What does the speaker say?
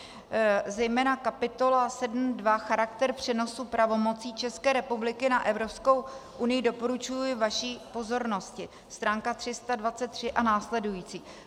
Zejména kapitola 7.2 Charakter přenosu pravomocí České republiky na Evropskou unii doporučuji vaší pozornosti, stránka 323 a následující.